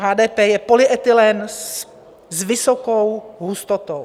HDP je polyetylen s vysokou hustotou.